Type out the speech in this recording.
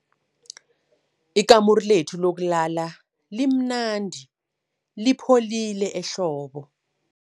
Ikamuru lethu lokulala limnandi lipholile ehlobo.